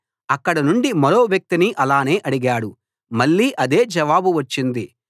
అక్కడ నుండి మరో వ్యక్తిని ఆలానే అడిగాడు మళ్ళీ అదే జవాబు వచ్చింది